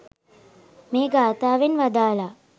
මේ ගාථාවෙන් වදාළා.